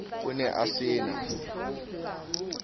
o ne a se na